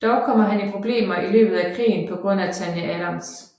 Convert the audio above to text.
Dog kommer han i problemer i løbet af krigen på grund af Tanya Adams